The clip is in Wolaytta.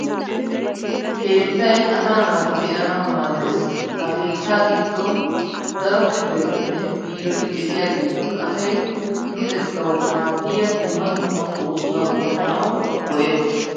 Keettay asaa naati de'anawu maaddes. Ha keettaa giddon daro kifiletinne biiroti diyageetun asay luxettawu maaddiya dumma dumma oosota oottanawu go'ettes.